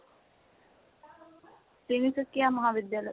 তিনিচুকীয়া মহাবিদ্য়ালয়